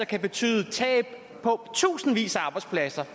kan betyde tab af tusindvis af arbejdspladser